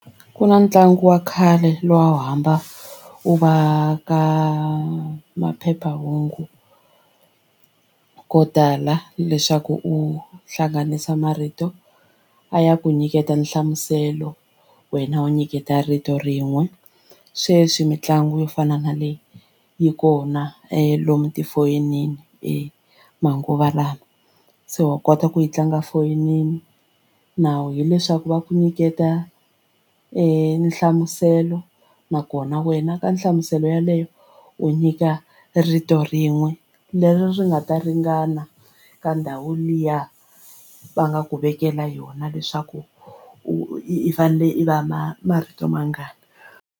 Ku na ntlangu wa khale luwa a wu hamba u va ka maphephahungu ko tala leswaku u hlanganisa marito a ya ku nyiketa nhlamuselo wena u nyiketa rito rin'we sweswi mitlangu yo fana na le yi kona lomu tifonini e manguva lawa se wa kota ku yi tlanga foyinini nawu hileswaku va ku nyiketa nhlamuselo nakona wena ka nhlamuselo yeleyo u nyika rito rin'we leri nga ta ringana ka ndhawu liya va nga ku vekela yona leswaku u i fanele i va ma marito mangani.